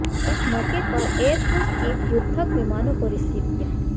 इस मौके पर एयरफोर्स चीफ युद्धक विमानों को रिसीव किया